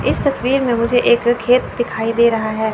इस तस्वीर में मुझे एक खेत दिखाई दे रहा है।